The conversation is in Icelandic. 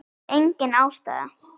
Engin ástæða?